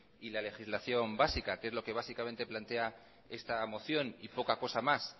y la legislación básica que es lo que básicamente plantea esta moción y poca cosa más